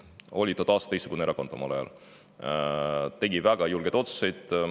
Omal ajal oli ta totaalselt teistsugune erakond, tegi väga julgeid otsuseid.